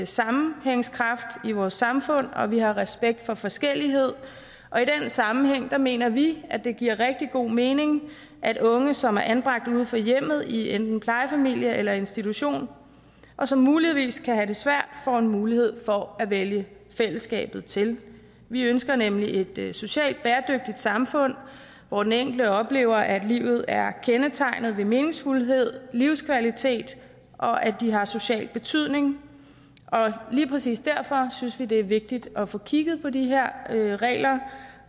sammenhængskraft i vores samfund og at vi har respekt for forskellighed i den sammenhæng mener vi at det giver rigtig god mening at unge som er anbragt uden for hjemmet i enten plejefamilie eller institution og som muligvis kan have det svært får mulighed for at vælge fællesskabet til vi ønsker nemlig et socialt bæredygtigt samfund hvor den enkelte oplever at livet er kendetegnet ved meningsfuldhed og livskvalitet og at de har social betydning lige præcis derfor synes vi det er vigtigt at få kigget på de her regler